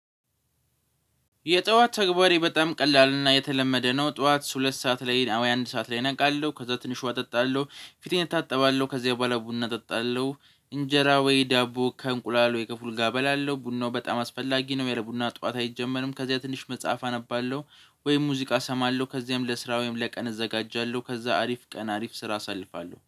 የጠዋት ተግባሬ በጣም ቀላልና የተለመደ ነው። ጠዋት ሁለት ሰዓት ላይ ወይ አንድ ሰዓት ላይ እነቃለሁ። ከዛ ትንሽ ውሃ እጠጣለሁ ፊቴን እታጠባለሁ ከዚያ በኋላ ቡና እጠጣለሁ። እንጀራ ወይ ዳቦ ከእንቁላል ወይ ከፉል ጋር እበላለሁ ቡናው በጣም አስፈላጊ ነው ያለቡና ጠዋት አይጀመርም። ከዚያ ትንሽ መጽሐፍ አነባለሁ ወይም ሙዚቃ እሰማለሁ ከዚያም ለስራ ወይም ለቀን እዘጋጃለሁ። ከዛ አሪፍ ቀን አሪፍ ስራ አሳልፋለሁ